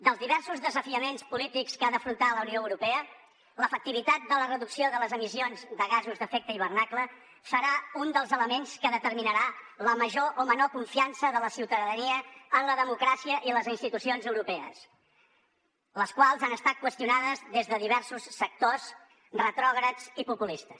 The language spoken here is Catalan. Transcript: dels diversos desafiaments polítics que ha d’afrontar la unió europea l’efectivitat de la reducció de les emissions de gasos d’efecte hivernacle serà un dels elements que determinarà la major o menor confiança de la ciutadania en la democràcia i les institucions europees les quals han estat qüestionades des de diversos sectors retrògrads i populistes